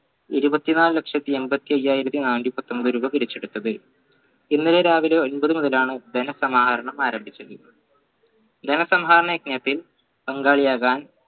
ഇരുപത്തിനാല് ലക്ഷത്തി എമ്പതി അഞ്ചായിരത്തി നാന്നൂറ്റി പത്തൊമ്പത് രൂപ പിരിച്ചെടുത്തത് ഇന്നലെ രാവിലെ ഒമ്പത് മുതലാണ് ധനസമാഹരണം ആരംഭിച്ചത് ധനസഹാരണ പങ്കാളിയാകാൻ